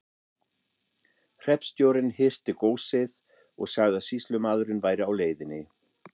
Hreppstjórinn hirti góssið og sagði að sýslumaðurinn væri á leiðinni.